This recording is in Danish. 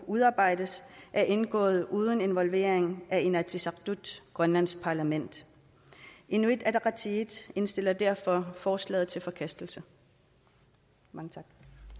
udarbejdet er indgået uden involvering af inatsisartut grønlands parlament inuit ataqatigiit indstiller derfor forslaget til forkastelse mange